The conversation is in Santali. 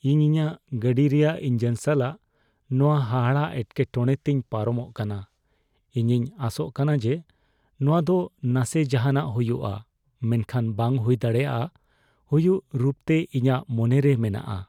ᱤᱧ ᱤᱧᱟᱹᱜ ᱜᱟᱹᱰᱤ ᱨᱮᱭᱟᱜ ᱤᱧᱡᱤᱱ ᱥᱟᱞᱟᱜ ᱱᱚᱶᱟ ᱦᱟᱦᱟᱲᱟᱜ ᱮᱴᱠᱮᱴᱚᱲᱮ ᱛᱮᱧ ᱯᱟᱨᱚᱢᱚᱜ ᱠᱟᱱᱟ ᱾ ᱤᱧᱤᱧ ᱟᱥᱚᱜ ᱠᱟᱱᱟ ᱡᱮ ᱱᱚᱶᱟ ᱫᱚ ᱱᱟᱥᱮ ᱡᱟᱦᱟᱱᱟᱜ ᱦᱩᱭᱩᱜᱼᱟ, ᱢᱮᱱᱠᱷᱟᱱ ᱵᱟᱝ ᱦᱩᱭ ᱫᱟᱲᱮᱭᱟᱜ ᱦᱩᱭᱩᱜ ᱨᱩᱯᱛᱮ ᱤᱧᱟᱹᱜ ᱢᱚᱱᱮᱨᱮ ᱢᱮᱱᱟᱜᱼᱟ ᱾